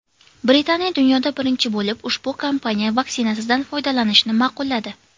Britaniya dunyoda birinchi bo‘lib ushbu kompaniya vaksinasidan foydalanishni ma’qulladi .